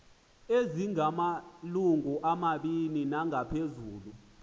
ezimalungu mabini nangaphezulu